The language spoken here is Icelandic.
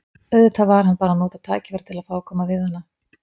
Auðvitað var hann bara að nota tækifærið til að fá að koma við hana.